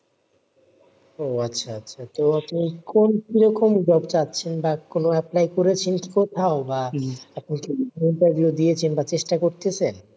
ও আচ্ছা আচ্ছা তো বা কোনো apply করেছিস কোথাও বা interview দিয়েছেন বা চেষ্টা করতেছেন,